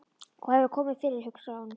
Hvað hefur komið fyrir, hugsaði hún.